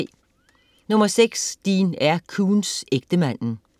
Koontz, Dean R.: Ægtemanden Punktbog 108095